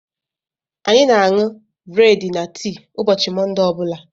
Anyị na aṅụ breedi na tii ụbọchị Monde ọbula.